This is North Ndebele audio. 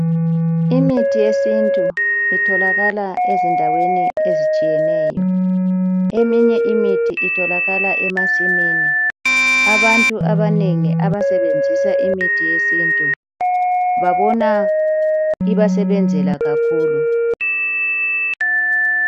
Imithi yesintu itholakala ezindaweni ezitshiyeneyo eminye imithi itholakala emasimini abantu abanengi abasebenzisa imithi yesintu babona ibasebenzela kakhulu.